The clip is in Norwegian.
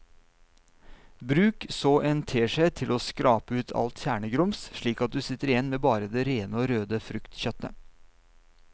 Bruk så en teskje til å skrape ut alt kjernegrums slik at du sitter igjen med bare det rene og røde fruktkjøttet.